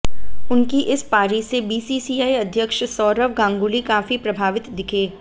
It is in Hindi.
उनकी इस पारी से बीसीसीआई अध्यक्ष सौरव गांगुली काफी प्रभावित दिखे